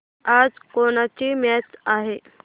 आज कोणाची मॅच आहे